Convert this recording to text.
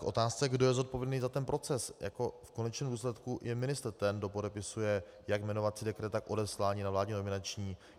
K otázce, kdo je zodpovědný za ten proces, v konečném důsledku je ministr, ten, kdo podepisuje jak jmenovací dekret, tak odeslání na vládní nominační.